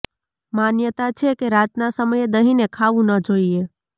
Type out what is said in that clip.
માન્યતા છે કે રાતના સમયે દહીંને ખાવુ ન જોઈએ